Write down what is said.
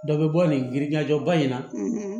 Dɔ bɛ bɔ nin yiriɲajɛ ba in na